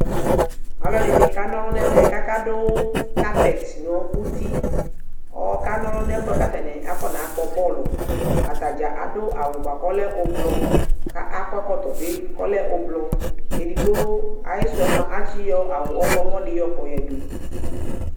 Alʋɛdɩnɩ kanɔlʋ n'ɛmɛ k'aka dʋ carpet nʋ uti kʋ ɔkanolʋ n'ɛfʋɛ k'atanɩ akɔnakpɔ bɔlʋ, atadzaa adʋ awʋ bʋa k'ɔlɛ ʋblʋ ka akɔ ɛkɔtɔ bɩ k'ɔla ʋblʋ, kʋ ayisʋ yɛ mua atsɩ yɔ awʋ ɔɣlɔmɔ dɩ yɔ kɔ dʋ